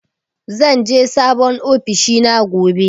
Zan je sabon ofishina gobe.